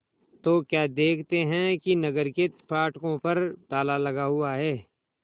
तो क्या देखते हैं कि नगर के फाटकों पर ताला लगा हुआ है